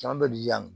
Caman bɛ yan